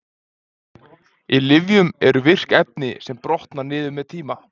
í lyfjum eru virk efni sem brotna niður með tíma